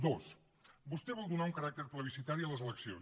dos vostè vol donar un caràcter plebiscitari a les eleccions